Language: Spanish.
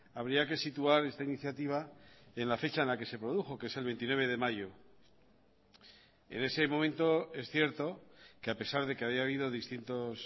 habría que situar esta iniciativa en la fecha en la que se produjo que es el veintinueve de mayo en ese momento es cierto que a pesar de que haya habido distintos